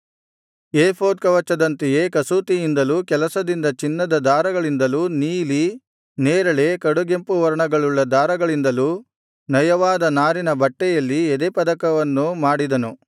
ಏಫೋದ್ ಕವಚದಂತೆಯೇ ಕಸೂತಿಯಿಂದಲೂ ಕೆಲಸದಿಂದ ಚಿನ್ನದ ದಾರಗಳಿಂದಲೂ ನೀಲಿ ನೇರಳೆ ಕಡುಗೆಂಪು ವರ್ಣಗಳುಳ್ಳ ದಾರಗಳಿಂದಲೂ ನಯವಾದ ನಾರಿನ ಬಟ್ಟೆಯಲ್ಲಿ ಎದೆಯಪದಕವನ್ನು ಮಾಡಿದನು